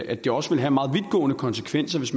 at det også vil have meget vidtgående konsekvenser hvis